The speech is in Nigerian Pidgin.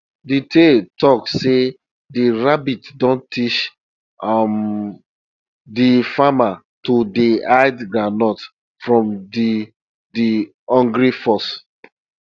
de tale talk sey de rabbit don teach um de farmer to dey hide groundnuts from de de hungry fox